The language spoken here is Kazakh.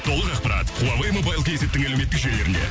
толық ақпарат хуавей мобайл кейзеттің әлеуметтік желілерінде